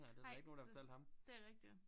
Ej det det rigtigt